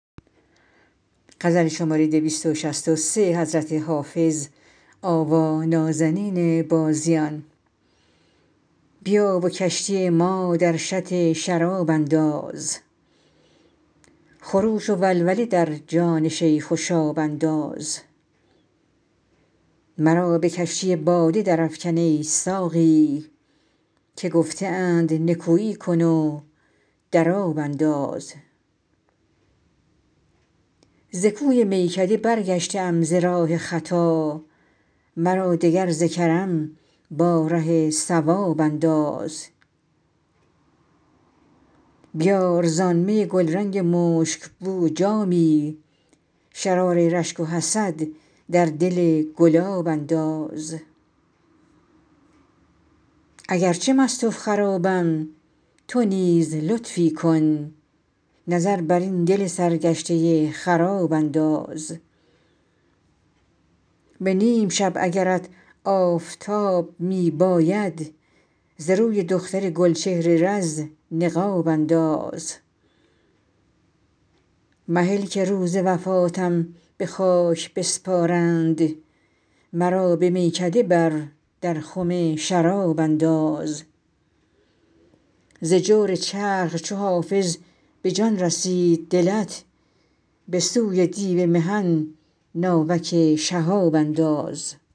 بیا و کشتی ما در شط شراب انداز خروش و ولوله در جان شیخ و شاب انداز مرا به کشتی باده درافکن ای ساقی که گفته اند نکویی کن و در آب انداز ز کوی میکده برگشته ام ز راه خطا مرا دگر ز کرم با ره صواب انداز بیار زآن می گلرنگ مشک بو جامی شرار رشک و حسد در دل گلاب انداز اگر چه مست و خرابم تو نیز لطفی کن نظر بر این دل سرگشته خراب انداز به نیم شب اگرت آفتاب می باید ز روی دختر گل چهر رز نقاب انداز مهل که روز وفاتم به خاک بسپارند مرا به میکده بر در خم شراب انداز ز جور چرخ چو حافظ به جان رسید دلت به سوی دیو محن ناوک شهاب انداز